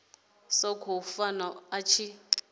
sa khou funa a tshi